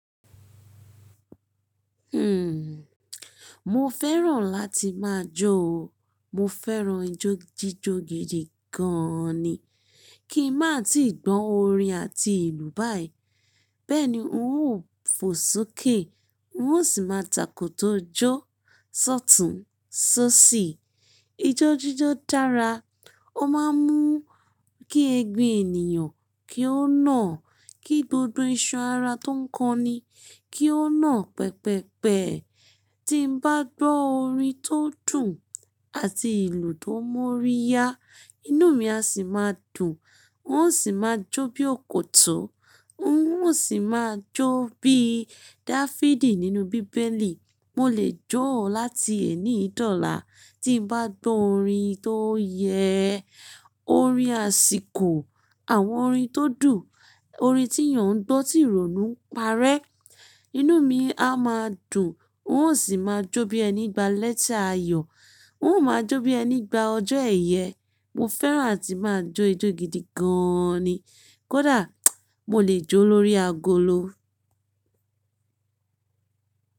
Hmm, mo fẹ́ràn láti máa jó o. Mo fẹ́ràn ijó jíjó gidi gan ni. Kí n má tíì gbọ́ orin àti ìlù báyìí. Bẹ́ẹ̀ ni n óò fò sókè, n ó sì máa takò tó jó. Sọ̀tún, sọ̀sí. Ijó jíjó dára, ó máa ń mú kí egun ènìyàn kí ó nà, kí gbogbo iṣan-ara tó ń kan ni kí ó nà pẹpẹ́pẹ. Tí n bá gbọ́ orin tó dùn àti ìlù tó mọ́ríyá, inú mi á sì máa dùn, n ó sì máa jó bí òkòtó, n ó sì máa jó bí Dáfídì nínú bíbélì. Mo lè jó láti èní ìdọ̀la, tí n bá gbọ́ orin tó yẹ orin àsìkò, àwọn orin tó dùn, orin tí èèyàn ń gbọ́ tí ìrònú ń parẹ́. Inú mi á máa dùn, n ó sì máa jó bí ẹni gba lẹ́ti ààyò, n ó máa jó bí ẹni gba ọjọ́ ẹ̀yẹ. Mo fẹ́ràn àti máa jó ijó gidi gan ni. Kódà, mo lè jó lórí agolo.